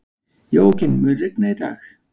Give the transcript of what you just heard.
Jóakim, mun rigna í dag?